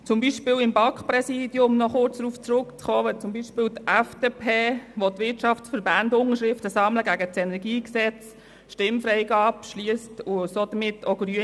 So hat die FDP beispielsweise Stimmfreigabe beschlossen und somit auch Grüne gewählt, währenddessen die Wirtschaftsverbände Unterschriften gegen das Kantonale Energiegesetz (KEnG) sammeln.